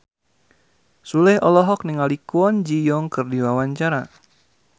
Sule olohok ningali Kwon Ji Yong keur diwawancara